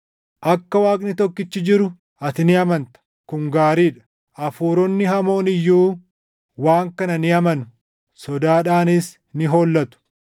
Akka Waaqni tokkichi jiru ati ni amanta. Kun gaarii dha! Hafuuronni hamoon iyyuu waan kana ni amanu; sodaadhaanis ni hollatu.